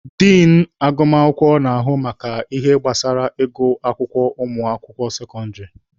Din agụmakwụkwọ na-ahụ maka ihe gbasara ịgụ akwụkwọ ụmụaka sekọndịrị.